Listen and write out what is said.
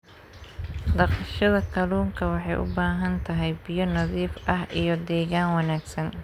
Dhaqashada kalluunka waxay u baahan tahay biyo nadiif ah iyo deegaan wanaagsan.